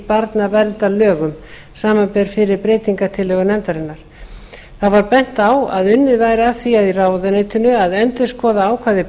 barnaverndarlögum samanber fyrri breytingartillögur nefndarinnar það var bent á að unnið væri að því í ráðuneytinu að endurskoða ákvæði